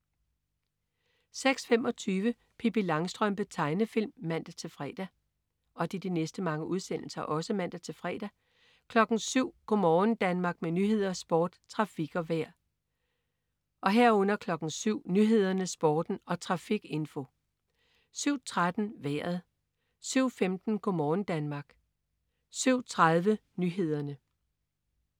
06.25 Pippi Langstrømpe. Tegnefilm (man-fre) 07.00 Go' morgen Danmark. Med nyheder, sport, trafik og vejr (man-fre) 07.00 Nyhederne, Sporten og trafikinfo (man-fre) 07.13 Vejret (man-fre) 07.15 Go' morgen Danmark (man-fre) 07.30 Nyhederne (man-fre)